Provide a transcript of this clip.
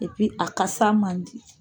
a kasa ma di